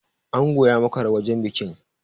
Ango ya makara wajen bikin.